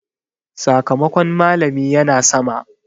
Sakamakon malami ya na sama.